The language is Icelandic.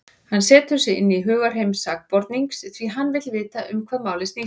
Hann setur sig inn í hugarheim sakborningsins, því hann vill vita um hvað málið snýst.